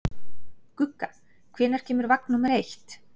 Gugga, hvenær kemur vagn númer eitt?